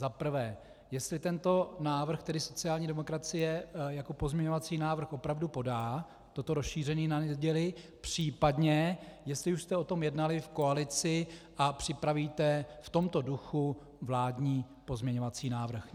Za prvé, jestli tento návrh tedy sociální demokracie jako pozměňovací návrh opravdu podá, toto rozšíření na neděli, případně jestli už jste o tom jednali v koalici a připravíte v tomto duchu vládní pozměňovací návrh.